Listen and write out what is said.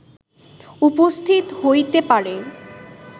উপস্থিত হইতে পারে